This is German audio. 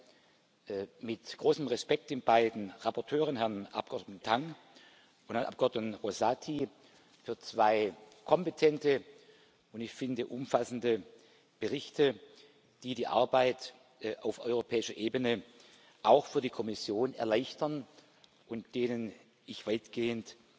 Ich danke mit großem Respekt den beiden Berichterstattern, Herrn Abgeordneten Tang und Herrn Abgeordneten Rosati, für zwei kompetente und wie ich finde umfassende Berichte, die die Arbeit auf europäischer Ebene auch für die Kommission erleichtern und denen ich weitgehend